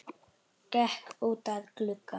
Gekk út að glugga.